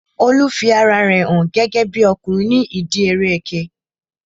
Olu fi ara rẹ hàn gẹ́gẹ́bí ọkùnrin ní ìdíi eré ẹkẹ